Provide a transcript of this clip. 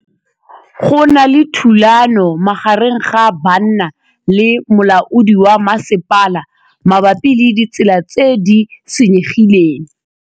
Go na le thulanô magareng ga banna le molaodi wa masepala mabapi le ditsela tse di senyegileng.